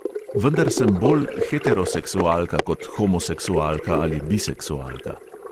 "Vendar sem bolj heteroseksualka kot homoseksualka ali biseksualka."